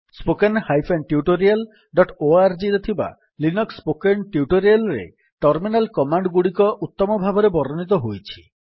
httpspoken tutorialorg ରେ ଥିବା Linux spoken tutorial ରେ ଟର୍ମିନାଲ୍ କମାଣ୍ଡ୍ ଗୁଡିକ ଉତ୍ତମ ଭାବରେ ବର୍ଣ୍ଣିତ ହୋଇଛି